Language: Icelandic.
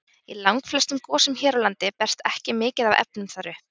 Í langflestum gosum hér á landi berst ekki mikið af efnum þar upp.